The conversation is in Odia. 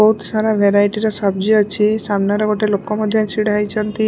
ବହୁତ୍ ସାରା ଭେରାଇଟ୍ ର ସବ୍ଜି ଅଛି ସାମ୍ନାରେ ଗୋଟେ ଲୋକ ମଧ୍ୟ ଛିଡ଼ା ହେଇଚନ୍ତି ଓ --